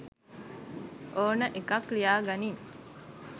ඕන එකක් ලියාගනින්.